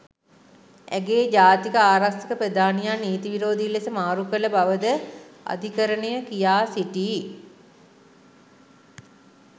ඇගේ ජාතික ආරක්ෂක ප්‍රධානියා නීතී විරෝධී ලෙස මාරු කළ බව ද අධිකරණය කියා සිටී.